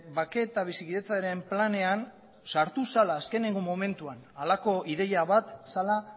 bake eta bizikidetzaren planean sartu zela azkeneko momentuan halako ideia bat zela